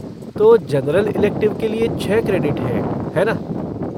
तो general elective के लिए छः क्रेडिट हैं, हैं ना?